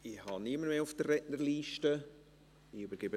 Es ist niemand mehr in der Rednerliste eingetragen.